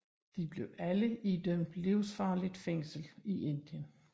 De blev alle idømt livsvarigt fængsel i Indien